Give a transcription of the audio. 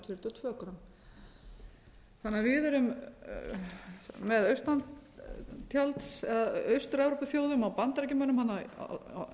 eitt gramm og ungverjaland fjörutíu og tvö grömm við erum með austur evrópuþjóðum og bandaríkjamönnum á